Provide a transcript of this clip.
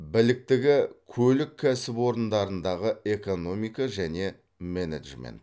біліктігі көлік кәсіпорындарындағы экономика және менеджмент